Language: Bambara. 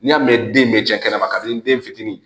N'i y'a mɛn den bɛ cɛ kɛnɛma ka di n den fitinin ye